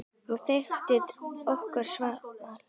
Hún þekkti okkur svo vel.